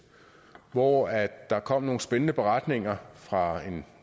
hvor der kom nogle spændende beretninger fra en